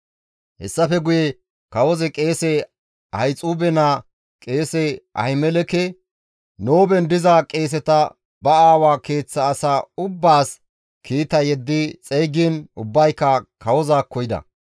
Hessafe guye kawozi qeese Ahixuube naa qeese Ahimeleke, Nooben diza qeeseta ba aawa keeththa asaa ubbaas kiita yeddi xeygiin ubbayka kawozaakko yida.